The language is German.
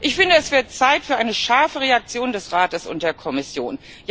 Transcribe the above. Ich finde, es wird Zeit für eine scharfe Reaktion des Rates und der Kommission.